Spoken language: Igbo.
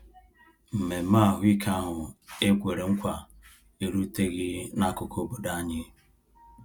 Mmemme ahụike ahụ ekwere nkwa eruteghị n’akụkụ obodo anyị.